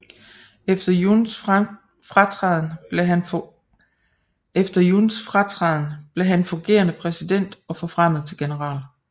Efter Yuns fratræden blev han fungerende præsident og forfremmet til general